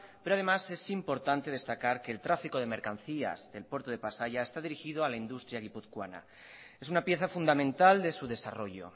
pero además es importante destacar que el tráfico de mercancías del puerto de pasaia está dirigido a la industria gipuzcoana es una pieza fundamental de su desarrollo